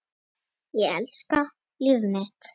Ég elska líf mitt.